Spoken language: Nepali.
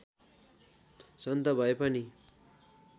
सन्त भए पनि